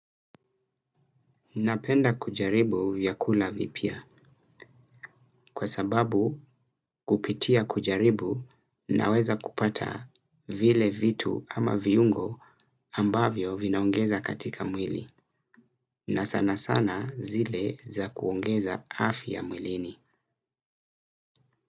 Napenda kujaribu vyakula vipya kwa sababu kupitia kujaribu naweza kupata vile vitu ama viungo ambavyo vinaongeza katika mwili na sana sana zile za kuongeza afiya mwilini.